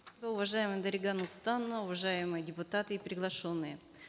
уважаемая дарига нурсултановна уважаемые депутаты и приглашенные